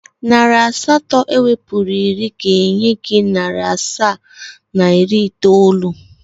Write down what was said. Narị asatọ ewepụrụ iri ga-enye gị narị asaa na iri itoolu.